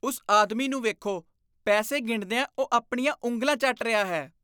ਉਸ ਆਦਮੀ ਨੂੰ ਵੇਖੋ। ਪੈਸੇ ਗਿਣਦਿਆਂ ਉਹ ਆਪਣੀਆਂ ਉਂਗਲਾਂ ਚੱਟ ਰਿਹਾ ਹੈ।